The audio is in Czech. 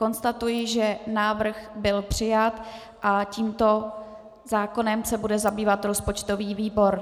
Konstatuji, že návrh byl přijat a tímto zákonem se bude zabývat rozpočtový výbor.